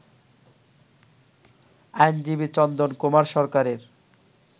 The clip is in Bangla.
আইনজীবী চন্দন কুমার সরকারের